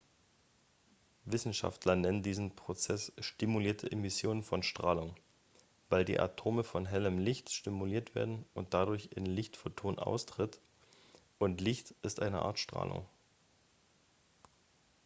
"wissenschaftler nennen diesen prozess "stimulierte emission von strahlung" weil die atome von hellem licht stimuliert werden und dadurch ein lichtphoton austritt und licht ist eine art strahlung.